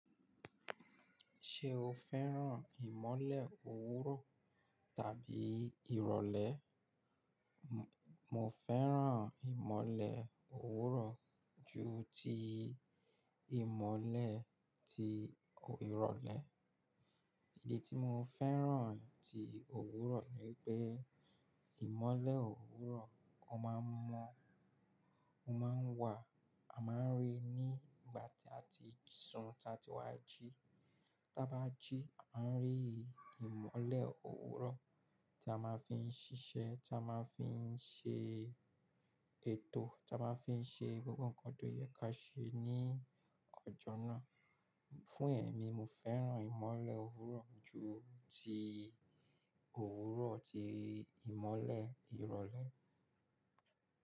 Ṣé o fẹ́ràn ìmọ́lẹ̀ òwúrọ̀ tàbí ìrọ̀lẹ́? Mo fẹ́ràn ìmọ́lẹ̀ òwúrọ̀ ju ti ìmọ́lẹ̀ ti ìrọ̀lẹ́. Ìdí tí mo fẹ́ràn ti òwúrọ̀ ni pé ìmọ́lẹ̀ òwúrọ̀, o máa ń mọ́, ó máa ń wà, a máa ń rí i ní ìgbà tí a ti sùn tá a ti wá jí. Tá a bá jí, a máa rí ìmọ́lẹ̀ òwúrọ̀ tí a máa fi ń ṣiṣẹ́, tí a máa fi ń ṣe ètò, tí a máa fi ń ṣe gbogbo nǹkan tó yẹ ká ṣe ní ọjọ́ náà. Fún ẹ̀mí, mo fẹ́ràn ìmọ́lẹ̀ òwúrọ̀ ju ti òwúrọ̀ ti ìmọ́lẹ̀ ìrọ̀lẹ́.